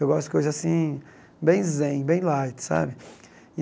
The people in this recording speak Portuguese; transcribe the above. Eu gosto de coisas assim, bem zen, bem light, sabe?